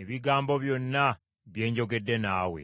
ebigambo byonna bye njogedde naawe.